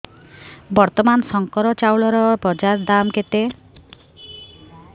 ବର୍ତ୍ତମାନ ଶଙ୍କର ଚାଉଳର ବଜାର ଦାମ୍ କେତେ